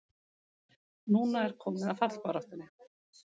Núna er komið að fallbaráttunni!